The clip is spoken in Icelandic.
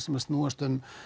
sem snúist um